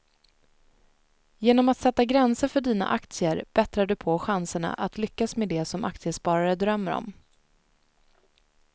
Genom att sätta gränser för dina aktier bättrar du på chanserna att lyckas med det som aktiesparare drömmer om.